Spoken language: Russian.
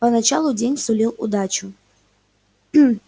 поначалу день сулил удачу